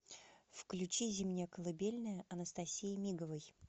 включи зимняя колыбельная анастасии миговой